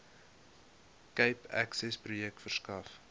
cape accessprojek verskaf